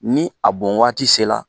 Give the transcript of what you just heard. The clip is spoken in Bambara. Ni a bon waati se la.